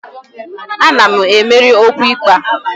Ana m emeri n'okwu ikpe a